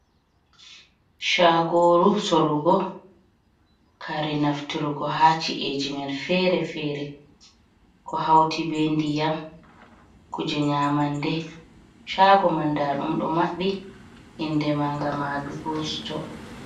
chagooru sorugo kare naftirgo ha ci’e jamanu feere-feere ko hawti bee ndiyam,y kuuje nyaamande, chaago man ndaa ɗum ɗo maɓɓi inde maaga madugu sito.